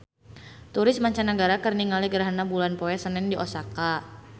Turis mancanagara keur ningali gerhana bulan poe Senen di Osaka